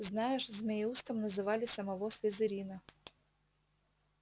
знаешь змееустом называли самого слизерина